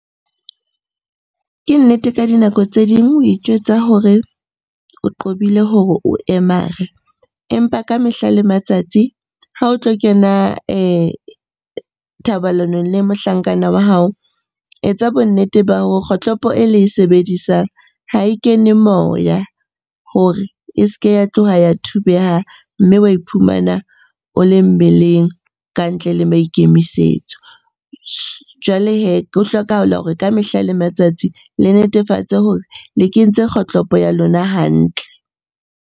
Ke nnete ka dinako tse ding o itjwetsa hore o qobile hore o emare, empa ka mehla le matsatsi ha o tlo kena thobalanong le mohlankana wa hao. Etsa bonnete ba hore kgohlopo e le e sebedisang ha e kene moya hore e se ke ya tloha ya thubeha, mme wa iphumana o le mmeleng ka ntle le maikemisetso. Jwale hee ho hlokahala hore ka mehla le matsatsi le netefatse hore le kentse kgohlopo ya lona hantle.